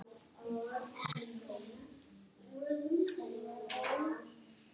Að lesa ljóð Nikolajs er ekki ólíkt því að skoða abstraktmálverk við atónalt undirspil.